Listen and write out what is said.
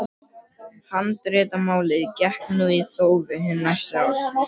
Handritamálið gekk nú í þófi hin næstu ár.